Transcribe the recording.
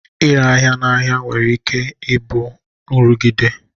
Ịre ahịa n'ahịa nwere ike ịbụ nrụgide